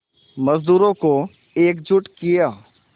मज़दूरों को एकजुट किया